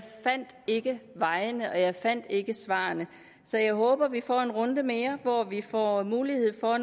fandt ikke vejene og jeg fandt ikke svarene så jeg håber at vi får en runde mere hvor vi får mulighed for